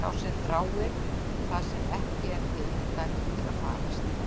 Sá sem þráir það sem ekki er til er dæmdur til að farast.